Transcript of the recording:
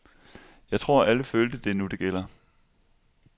Jeg tror, alle følte, det er nu det gælder.